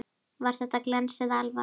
Var þetta glens eða alvara?